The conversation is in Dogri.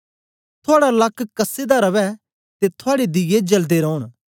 थुआड़ा लक कस्से दा रवै ते थुआड़े दीये जल्दे रौन